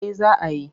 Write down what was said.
Eh za a yi.